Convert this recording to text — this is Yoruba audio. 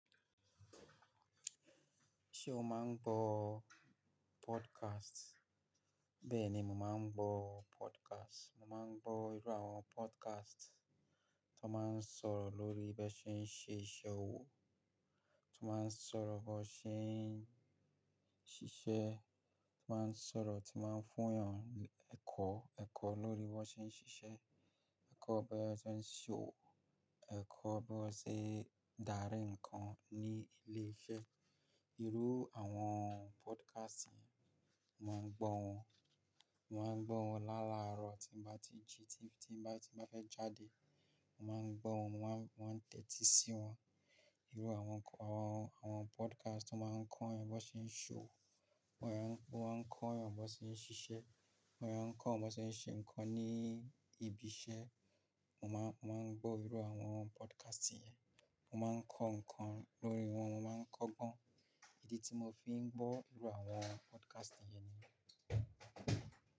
Ṣé o máa ń gbọ́ podcast? Bẹ́ẹ̀ ni mo máa ń gbọ́ podcast. Mo máa ń gbọ́ irú àwọn podcast tó máa ń sọ̀rọ̀ lórí bí wọ́n ṣe ń ṣe iṣẹ́ owó, tó máa ń sọ̀rọ̀ bí wọ́n ṣe ń ṣiṣẹ́, tó máa ń sọ̀rọ̀, tí máa ń fún ènìyàn ẹ̀kọ́, ẹ̀kọ́ lórí bí wọ́n ṣe ń ṣiṣẹ́, ẹ̀kọ́ bí wọ́n ṣe ń ṣòwò, ẹ̀kọ́ bí wọ́n ṣe ń darí nǹkan ní ilé iṣẹ́. Irú àwọn podcast yẹn, mo máa ń gbọ́ wọn. Mo máa ń gbọ́ wọn láàlárọ̀ tí bá ti jí, tí bá fẹ́ jáde. Mo máa ń gbọ́ wọn, mo máa ń tẹ́tí sí wọn. Irú àwọn, àwọn podcast tó máa ń kọ́ ẹ̀yin bí wọ́n ṣe ń ṣòwò, wọ́n máa ń kọ́ ẹ̀yin bí wọ́n ṣe ń ṣiṣẹ́, wọ́n máa ń kọ́ ọ bí wọ́n ṣe ń ṣe nǹkan ní ibi iṣẹ́. Mo máa ń gbọ́ irú àwọn podcast yẹn. Mo máa ń kọ́ nǹkan lórí wọn, mo máa ń kọ́gbọ́n. Ibi tí mo fi ń gbọ́ irú àwọn podcast yẹn ni.